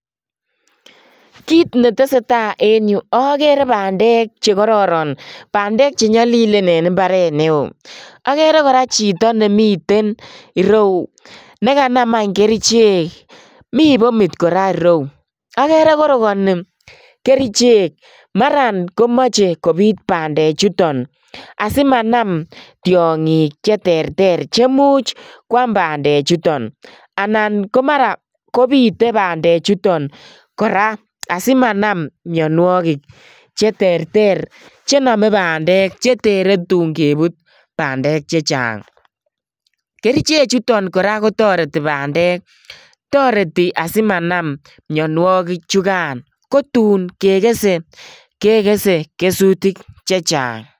Kiit neteseta en yuu okere bandek chekororon, bandek chenyolilen en mbaret neo, akere kora chito nemiten ireu nekanam any kerichek, mii bomit kora ireyu, okere korokoni kerichek, maran komoche kobiit bandechuton asimanam tiongik cheterter cheimuch kwaam bande chuton, anan komara kobite bande chuton kora asimanam mionwokik cheterter chenome bandek chetere tun kebut bandek che chang, kerichechuton kora kotoreti bandek, toreti asimanam mionwoki chukan, kotun kekese kekese kesutik chechang.